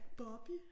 Bobby?